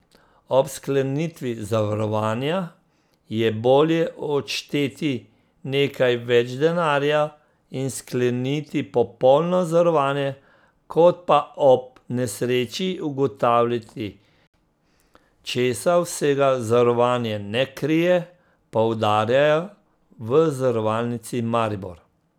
Ob sklenitvi zavarovanja je bolje odšteti nekaj več denarja in skleniti popolno zavarovanje, kot pa ob nesreči ugotavljati, česa vsega zavarovanje ne krije, poudarjajo v Zavarovalnici Maribor.